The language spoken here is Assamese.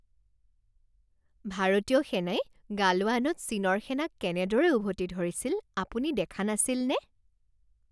ভাৰতীয় সেনাই গালৱানত চীনৰ সেনাক কেনেদৰে উভতি ধৰিছিল আপুনি দেখা নাছিলনে?